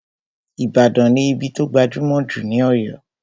Ìbàdàn ní ibí tó gbajúmọ̀ jù ní Ọ̀yọ́